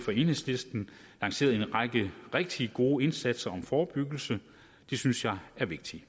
og enhedslisten lanceret en række rigtig gode indsatser om forebyggelse det synes jeg er vigtigt